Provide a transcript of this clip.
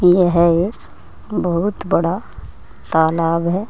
यह ए बहुत बड़ा तालाब है।